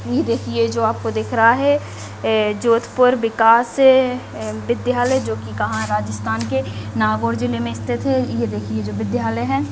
यह देखिए जो आपको दिख रहा है जोधपुर विकास विद्यालय जो कि कहां राजस्थान के नागौर जिले में स्थित है यह देखिए जो विद्यालय है।